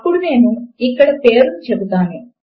అప్పుడు నేను ఇక్కడ పేరును చెపుతాను